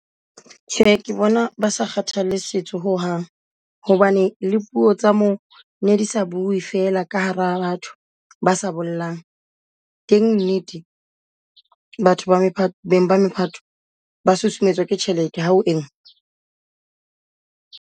Tjhe ke bona ba sa kgathalle setso ho hang hobane le puo tsa mo di sa bue fela ka hara batho ba sa bollang. Teng nnete batho ba beng ba maipato ba susumetswa ke tjhelete ha o engwe.